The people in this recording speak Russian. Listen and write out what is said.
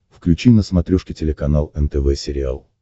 включи на смотрешке телеканал нтв сериал